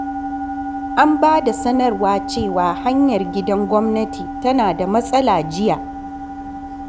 An ba da sanarwa cewa hanyar gidan gwamnati tana da matsala jiya.